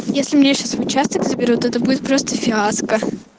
если меня сейчас в участок заберут это будет просто фиаско